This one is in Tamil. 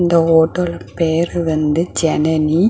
இந்த ஹோட்டலோட பேர் வந்து ஜனனி .